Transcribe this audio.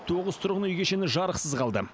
тоғыз тұрғын үй кешені жарықсыз қалды